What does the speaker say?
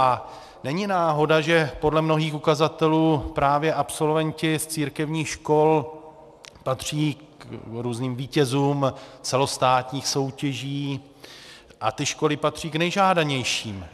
A není náhoda, že podle mnohých ukazatelů právě absolventi z církevních škol patří k různým vítězům celostátních soutěží a ty školy patří k nejžádanějším.